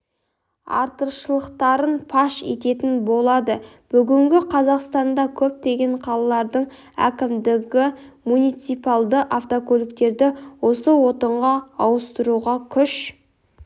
артықшылықтарын паш ететін болады бүгінде қазақстанда көптеген қалалардың әкімдігі муниципалды автокөліктерді осы отынға ауыстыруға күш